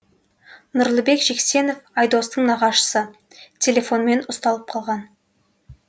нұрлыбек жексенов айдостың нағашысы телефонмен ұсталып қалған